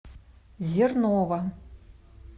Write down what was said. зернова